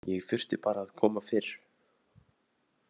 Ég þurfti bara að koma fyrr.